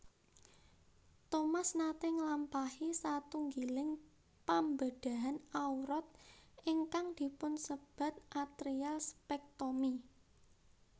Thomas naté nglampahi satunggiling pambedhahan awrat ingkang dipunsebat atrial sepectomy